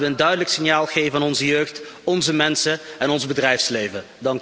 Laten we een duidelijk signaal geven aan onze jeugd, onze mensen en ons bedrijfsleven.